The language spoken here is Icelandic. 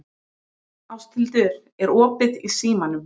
Ásthildur, er opið í Símanum?